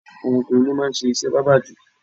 Awọn ọkùnrin ni wọ́n máa ń ṣe iṣẹ́ bábà jù.